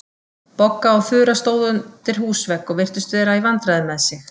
Bogga og Þura stóðu undir húsvegg og virtust vera í vandræðum með sig.